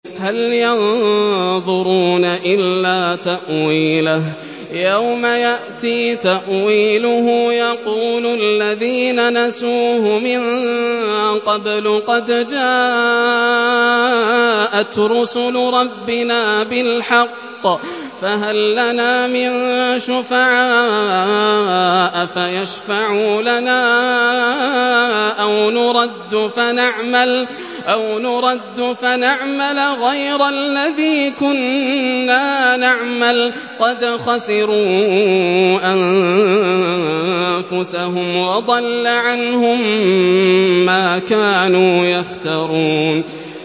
هَلْ يَنظُرُونَ إِلَّا تَأْوِيلَهُ ۚ يَوْمَ يَأْتِي تَأْوِيلُهُ يَقُولُ الَّذِينَ نَسُوهُ مِن قَبْلُ قَدْ جَاءَتْ رُسُلُ رَبِّنَا بِالْحَقِّ فَهَل لَّنَا مِن شُفَعَاءَ فَيَشْفَعُوا لَنَا أَوْ نُرَدُّ فَنَعْمَلَ غَيْرَ الَّذِي كُنَّا نَعْمَلُ ۚ قَدْ خَسِرُوا أَنفُسَهُمْ وَضَلَّ عَنْهُم مَّا كَانُوا يَفْتَرُونَ